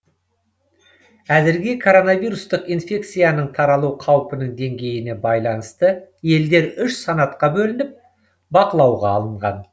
әзірге коронавирустық инфекцияның таралу қаупінің деңгейіне байланысты елдер үш санатқа бөлініп бақылауға алынған